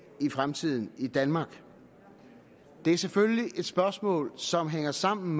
i fremtiden i danmark det er selvfølgelig et spørgsmål som hænger sammen